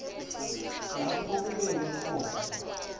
lapho kubekwe khona